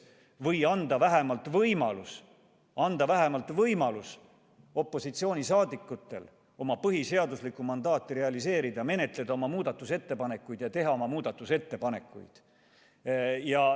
Või anda opositsioonile vähemalt võimalus oma põhiseaduslikku mandaati realiseerida, esitada ja menetleda oma muudatusettepanekuid.